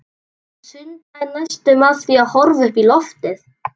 Hann sundlaði næstum af því að horfa upp í loftið.